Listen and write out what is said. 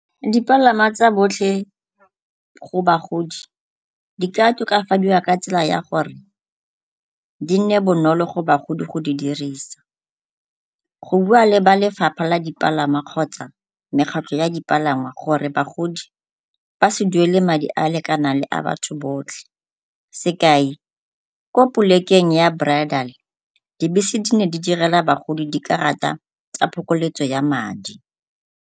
Dipalangwa tsa botlhe go bagodi di ka tokafadiwa ka tsela ya gore di ne bonolo go bagodi go di dirisa. Go bua le ba lefapha la dipalangwa kgotsa mekgatlho ya dipalangwa gore bagodi ba se duele madi a a lekanang le a batho botlhe sekai, ko polekeng ya Brotherly dibese di ne di ne di direla bagodi dikarata tsa phokoletso ya madi.